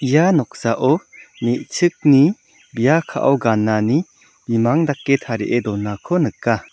ia noksao me·chikni bia ka·o ganani bimang dake tarie donako nika.